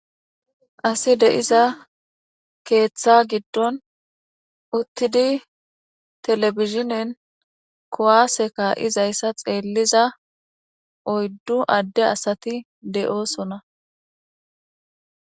Asi de7iza keeththa giddon uttidi telebizhinen kowaaseka izayssa xeelliza oyddu adde asati de7oosona.